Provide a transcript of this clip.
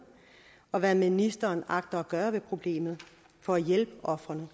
og hvad ministeren agter at gøre ved problemet for at hjælpe ofrene